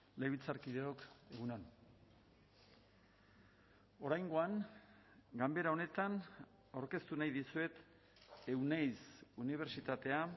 legebiltzarkideok egun on oraingoan ganbera honetan aurkeztu nahi dizuet euneiz unibertsitatea